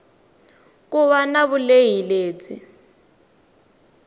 ku va na vulehi lebyi